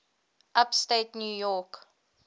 upstate new york